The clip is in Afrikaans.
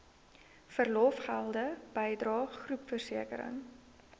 verlofgelde bydrae groepversekering